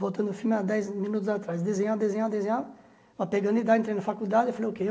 Voltando ao filme, há dez minutos atrás, desenhava, desenhava, desenhava, mas pegando idade, entrei na faculdade e falei,